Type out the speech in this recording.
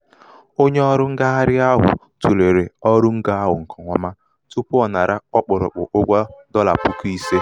onye ọrụ ṅgagharị ahụ̀ tùlèrè ọrụngō ahụ̀ ṅ̀kè ọma tupu ọ̀ nara ọkpụ̀rụ̀kpụ̀ ụgwọ dọlà̀ puku ise.